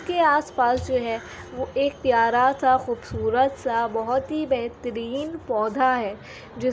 के आस-पास जो है वो एक प्यारा सा खूबसूरत सा बोहत ही बेहतरीन पौधा है जिस --